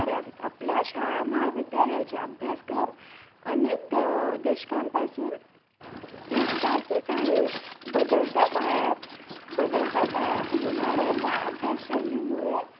करावी आपल्या शाळा महाविद्यालयाच्या अभ्यासक्रम अनेक द अं दशकांन पासून एकसारखेच आहे बदलत्या काळात बदलत्या काळात येणाऱ्या या अभ्यास शैली मुळे